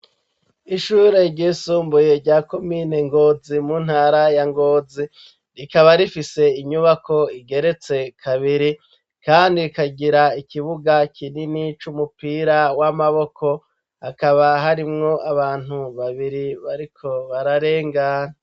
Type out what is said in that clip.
Ishure ryisumbuye, rya komine Ngozi, mu ntara ya Ngozi; rikaba rifise inyubako, igeretse kabiri, kandi ikagira, ikibuga kinini, c'umupira w'amaboko; hakaba harimwo abantu babiri, bariko bararengana.